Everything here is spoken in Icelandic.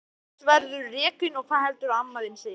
Annars verðurðu rekinn og hvað heldurðu að amma þín segi!